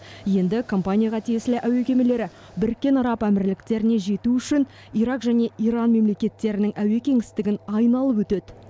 енді компанияға тиесілі әуе кемелері біріккен араб әмірліктеріне жету үшін ирак және иран мемлекеттерінің әуе кеңістігін айналып өтеді